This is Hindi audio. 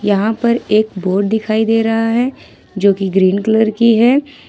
यहां पर एक बोर्ड दिखाई दे रहा है जोकि ग्रीन कलर का है।